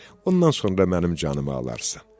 Ondan sonra mənim canımı alarsan.